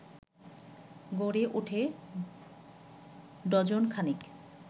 গড়ে ওঠে ডজন খানেক